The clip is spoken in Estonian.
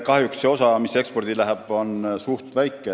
Kahjuks on see osa, mis ekspordiks läheb, suhteliselt väike.